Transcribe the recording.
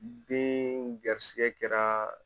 Deen garisigɛ kɛraa